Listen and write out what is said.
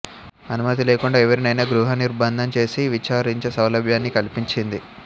అనుమతి లేకుండా ఎవరినైనా గృహనిర్భందం చేసి విచారించే సౌలభ్యాన్ని కల్పించింది